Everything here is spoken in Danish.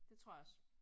Det tror jeg også